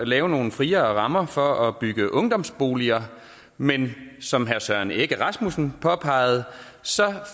lave nogle friere rammer for at bygge ungdomsboliger men som herre søren egge rasmussen påpegede